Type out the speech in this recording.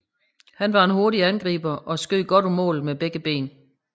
Han var en hurtig angriber og skød godt på mål med begge ben